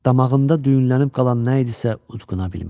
Damağında düyünlənib qalan nə idisə udquna bilmirdi.